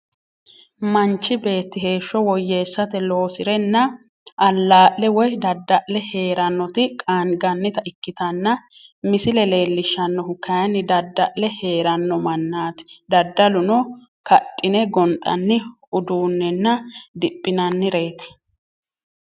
Manchi beeti heeshi woyeesate loosirenna alaa'le woyi dada'le heeranoti qaangannita ikitanna misile leelishanohu kayinni dada'le heeranno maanaati dadaluno kadhine gonxanni uduunenna diphinnanireeti.